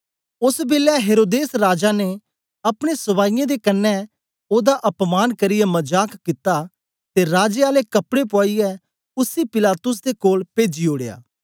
ओस बेलै हेरोदेस राजा ने अपने सपाईयें दे कन्ने ओदा अपमान करियै मजाक कित्ता ते राजे आले कपड़े पुआईयै उसी पिलातुस दे कोल पेजी ओड़या